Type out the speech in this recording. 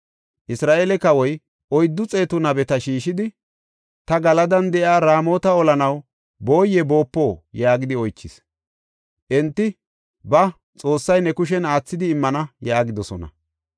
Isra7eele kawoy oyddu xeetu nabeta shiishidi, “Ta Galadan de7iya Raamota olanaw booye boopo?” yaagidi oychis. Enti, “Ba; Xoossay ne kushen aathidi immana” yaagidosona.